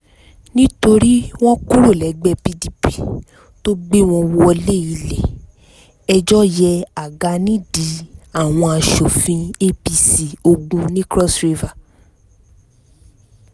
nítorí wọ́n kúrò lẹ́gbẹ́ pdp tó gbé wọn wọ́lẹ̀ ilé-ẹjọ́ yẹ àga nídìí àwọn aṣòfin apc ogun ní cross river